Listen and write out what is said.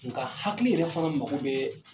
Nka hakili yɛrɛ fana mako bɛ